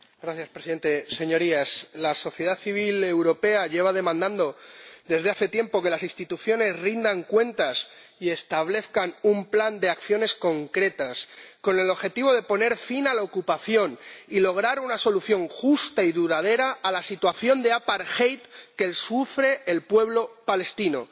Señor Presidente, Señorías, la sociedad civil europea lleva demandando desde hace tiempo que las instituciones rindan cuentas y establezcan un plan de acciones concretas con el objetivo de poner fin a la ocupación y lograr una solución justa y duradera a la situación de que sufre el pueblo palestino.